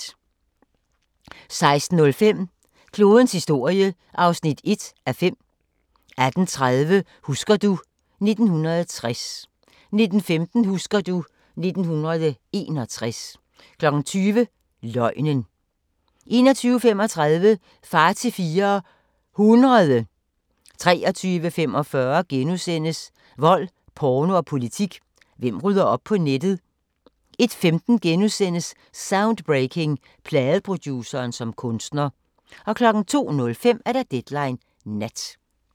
16:05: Klodens historie (1:5) 18:30: Husker du ... 1960 19:15: Husker du ... 1961 20:00: Løgnen 21:35: Far til fire ... hundrede 23:45: Vold, porno og politik – hvem rydder op på nettet? * 01:15: Soundbreaking – Pladeproduceren som kunstner * 02:05: Deadline Nat